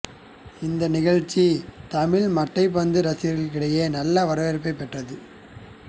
இந்த நிகழ்ச்சி தமிழ் மட்டைப்பந்து ரசிகர்களிடையே நல்ல வரவேற்பைப் பெற்றது